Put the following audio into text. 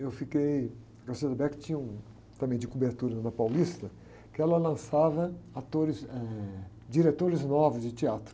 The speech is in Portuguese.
Eu fiquei... A tinha um... Também de cobertura lá na Paulista, que ela lançava atores... Eh, diretores novos de teatro.